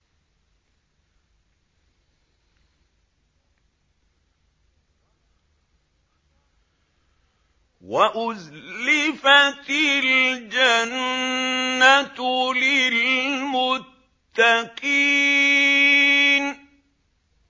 وَأُزْلِفَتِ الْجَنَّةُ لِلْمُتَّقِينَ